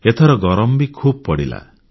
ଏଥର ଗରମ ବି ଖୁବ୍ ପଡ଼ିଲା